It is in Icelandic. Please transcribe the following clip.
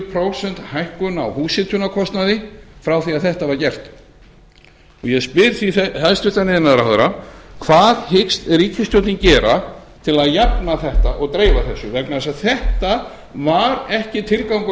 prósent hækkun á húshitunarkostnaði frá því að þetta var gert ég spyr því hæstvirtur iðnaðarráðherra hvað hyggst ríkisstjórnin gera til að jafna þetta og dreifa þessu vegna þess að þetta var ekki tilgangur